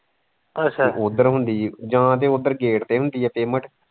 ਇਕ ਉੱਧਰ ਹੁੰਦੀ ਹੈ ਜਾਂ ਤੇ ਉੱਧਰ gate ਤੇ ਹੁੰਦੀ ਹੈ payment